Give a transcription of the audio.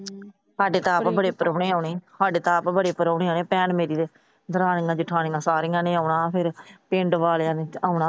ਸਾਡੇ ਤਾਂ ਆਪ ਬੜੇ ਪ੍ਰਾਹੁਣੇ ਆਉਣੇ। ਸਾਡੇ ਤਾਂ ਆਪ ਬੜੇ ਪ੍ਰਾਹੁਣੇ ਆਉਣੇ। ਭੈਣ ਮੇਰੀ ਨੇ, ਦਰਾਣੀਆਂ ਜੇਠਾਨੀਆ ਸਾਰੀਆਂ ਨੇ ਆਉਣਾ। ਫਿਰ ਪਿੰਡ ਵਾਲਿਆਂ ਨੇ ਆਉਣਾ।